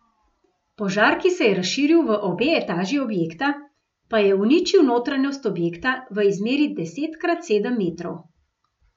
Požar, ki se je razširil v obe etaži objekta, pa je uničil notranjost objekta v izmeri deset krat sedem metrov.